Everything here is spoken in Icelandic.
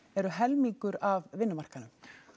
eru helmingur af vinnumarkaðnum